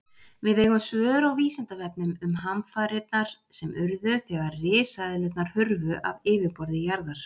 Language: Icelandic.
Við eigum svör á Vísindavefnum um hamfarirnar sem urðu þegar risaeðlurnar hurfu af yfirborði jarðar.